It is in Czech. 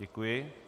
Děkuji.